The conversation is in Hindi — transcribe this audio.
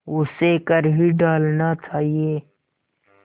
उसे कर ही डालना चाहिए